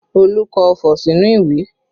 Olu kọ ọfọ̀ sínú ìwé